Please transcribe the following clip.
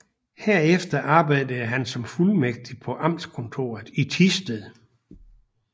Herefter arbejdede han som fuldmægtig på amtskontoret i Thisted